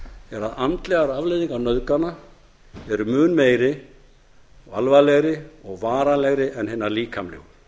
að andlegar afleiðingar eru mun meiri alvarlegri og varanlegri en hinar líkamlegu